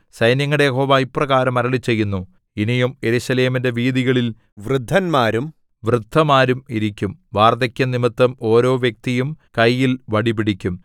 സൈന്യങ്ങളുടെ യഹോവ ഇപ്രകാരം അരുളിച്ചെയ്യുന്നു ഇനിയും യെരൂശലേമിന്റെ വീഥികളിൽ വൃദ്ധന്മാരും വൃദ്ധമാരും ഇരിക്കും വാർദ്ധക്യം നിമിത്തം ഓരോ വ്യക്തിയും കയ്യിൽ വടി പിടിക്കും